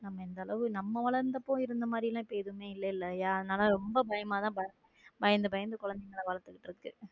நம்ம இந்த அளவு நம்ம வளர்ந்த போய் இருந்த மாதிரி எல்லாம் இப்ப எதுவுமே இல்லைல அதனால ரொம்ப பயமா தான் பயந்து பயந்து குழந்தைகளை வளர்க்கிறது.